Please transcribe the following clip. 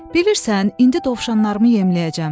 Bilirsən, indi dovşanlarımı yemləyəcəm.